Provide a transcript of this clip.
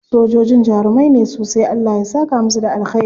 Sojojin jarumai ne sosai. Allah ya saka musu da alkhairi.